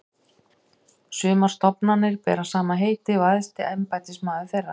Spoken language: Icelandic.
Sumar stofnanir bera sama heiti og æðsti embættismaður þeirra.